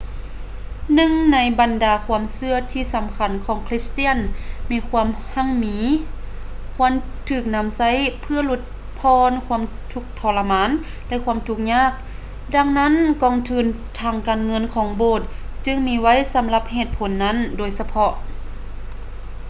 ໜຶ່ງໃນບັນດາຄວາມເຊື່ອທີ່ສຳຄັນຂອງຄຣິສຕຽນແມ່ນຄວາມຮັ່ງມີຄວນຖືກນຳໃຊ້ເພື່ອຫຼຸດຜ່ອນຄວາມທຸກທໍລະມານ ແລະ ຄວາມທຸກຍາກ ດັ່ງນັ້ນກອງທຶນທາງການເງິນຂອງໂບດຈຶ່ງມີໄວ້ສຳລັບເຫດຜົນນັ້ນໂດຍສະເພາະ